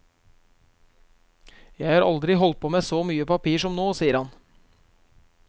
Jeg har aldri holdt på med så mye papir som nå, sier han.